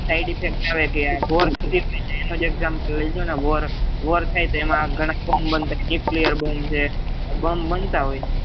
side effect થઇ જાય આપડે ware example લઇ લોન war થાય તો એના બોમ બનતા હોય છે nuclear છે ઘણા બોમ બનતા હોય છે